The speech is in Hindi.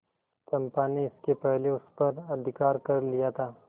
चंपा ने इसके पहले उस पर अधिकार कर लिया था